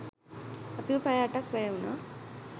අපිට පැය අටක් වැය වුණා